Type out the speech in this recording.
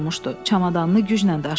Çamadanını güclə daşıyırdı.